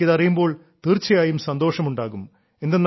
നിങ്ങൾക്ക് ഇതറിയുമ്പോൾ തീർച്ചയായും സന്തോഷം ഉണ്ടാകും